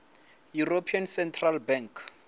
european central bank